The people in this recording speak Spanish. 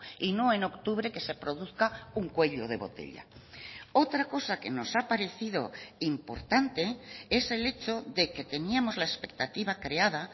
y no en octubre que se produzca un cuello de botella otra cosa que nos ha parecido importante es el hecho de que teníamos la expectativa creada